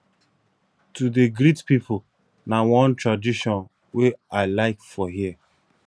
to dey greet pipu na one tradition wey i like for here